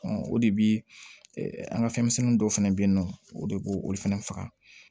o de bi an ka fɛnmisɛnnin dɔw fɛnɛ bɛ yen nɔ o de b'o olu fɛnɛ faga